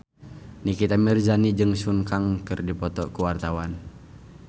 Nikita Mirzani jeung Sun Kang keur dipoto ku wartawan